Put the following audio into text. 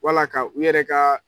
Wala ka u yɛrɛ ka